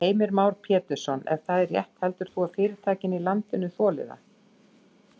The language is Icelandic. Heimir Már Pétursson: Ef það er rétt heldur þú að fyrirtækin í landinu þoli það?